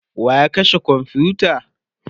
wa ya kashe komfuta?